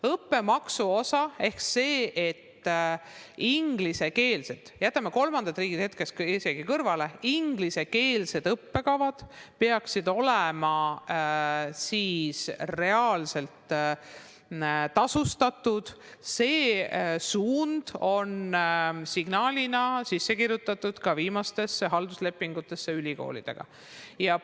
Õppemaksu osa ehk see, et ingliskeelsed õppekavad – jätame kolmandad riigid hetkeks kõrvale – peaksid olema reaalselt tasustatud, on signaalina sisse kirjutatud ka viimastesse halduslepingutesse, mis ülikoolidega on sõlmitud.